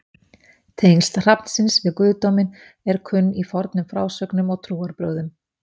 tengsl hrafnsins við guðdóminn eru kunn í fornum frásögnum og trúarbrögðum